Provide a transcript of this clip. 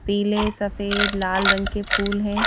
पीले सफेद लाल रंग के फूल हैं।